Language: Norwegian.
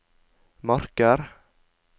Marker